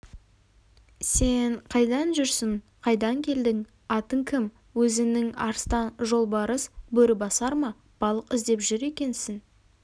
сен қайдан жүрсің қайдан келдің атың кім өзіңнің арыстан жолбарыс бөрібасар ма балық іздеп жүр екенсің